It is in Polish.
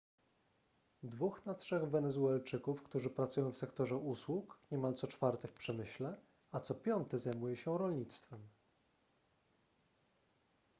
dwóch na trzech wenezuelczyków którzy pracują w sektorze usług niemal co czwarty w przemyśle a co piąty zajmuje się rolnictwem